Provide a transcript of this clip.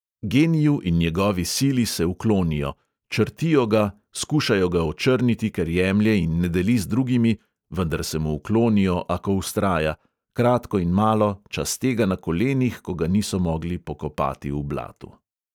Geniju in njegovi sili se uklonijo; črtijo ga, skušajo ga očrniti, ker jemlje in ne deli z drugimi; vendar se mu uklonijo, ako vztraja; kratko in malo, časte ga na kolenih, ko ga niso mogli pokopati v blatu.